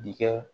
Dikɛ